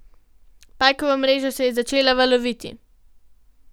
Pajkova mreža je začela valoviti.